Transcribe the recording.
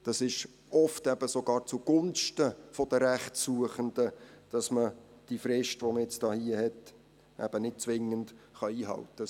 Es ist oft sogar zugunsten der Rechtsuchenden, dass man die Frist, die man hier jetzt hat, eben nicht zwingend einhalten kann.